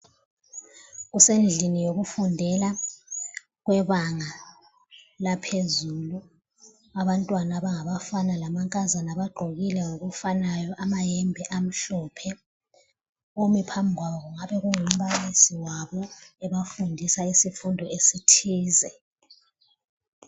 Kusendlini yokufundela kwebanga laphezulu. Abantwana abangabafana lamankazana bagqokile ngokufanayo amayembe amhlophe. Omi phambi kwabo kungabe kungu mbalisi wabo ebafundisa isifundo esithize.